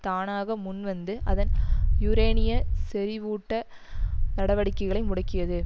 தானாக முன் வந்து அதன் யூரேனிய செறிவூட்ட நடவடிக்கைகளை முடக்கியது